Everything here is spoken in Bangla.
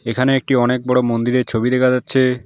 এখানে একটি অনেক বড় মন্দিরের ছবি দেখা যাচ্ছে।